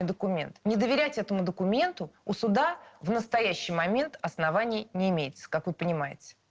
документ не доверять этому документу у суда в настоящий момент оснований не имеется как вы понимаете